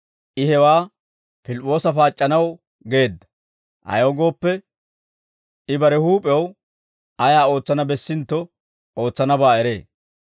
I hewaa Pilip'p'oosa paac'c'anaw geedda; ayaw gooppe, I bare huup'ew ayaa ootsana bessintto ootsanabaa eree.